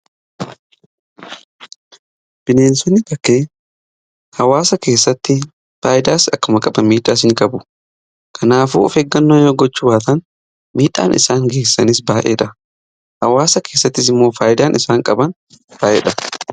Bineensonni bakkee hawaasa keessatti faayidaas akkuma qaban miidhaas in qabu. Kanaafuu of eeggannoo yoo gochuu baatan miidhaan isaan geessanis baay'eedha. Hawaasa keessattis immoo faayidaan isaan qaban baay'eedha.